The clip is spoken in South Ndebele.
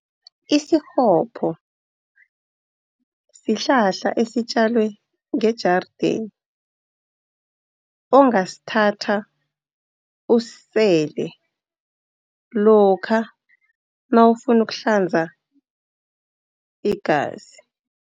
Isikghopho sihlahla esitjaliwe ngejarideni, ongasithatha usisele lokha nawufuna ukuhlanza igazi.